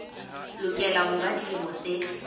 lokela ho ba dilemo tse